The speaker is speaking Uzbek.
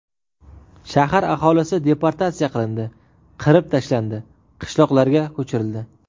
Shahar aholisi deportatsiya qilindi, qirib tashlandi, qishloqlarga ko‘chirildi.